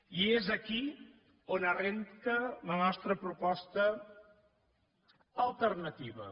i és aquí on arrenca la nostra proposta alternativa